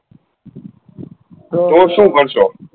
તો શું કરશો